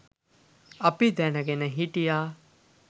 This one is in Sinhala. අපි දැන ගෙන හිටියා